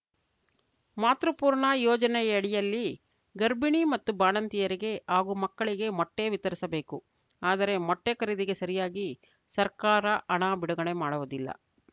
ಮಾತೃಪೂರ್ಣ ಯೋಜನೆಯಡಿಯಲ್ಲಿ ಗರ್ಭಿಣಿ ಮತ್ತು ಬಾಣಂತಿಯರಿಗೆ ಹಾಗೂ ಮಕ್ಕಳಿಗೆ ಮೊಟ್ಟೆವಿತರಿಸಬೇಕು ಆದರೆ ಮೊಟ್ಟೆಖರೀದಿಗೆ ಸರಿಯಾಗಿ ಸರ್ಕಾರ ಹಣ ಬಿಡುಗಡೆ ಮಾಡುವುದಿಲ್ಲ